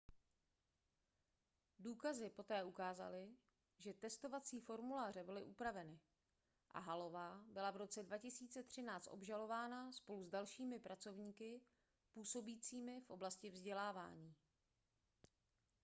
důkazy poté ukázaly že testovací formuláře byly upraveny a hallová byla v roce 2013 obžalována spolu s dalšími pracovníky působícími v oblasti vzdělávání